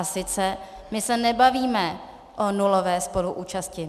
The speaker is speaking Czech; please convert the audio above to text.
A sice my se nebavíme o nulové spoluúčasti.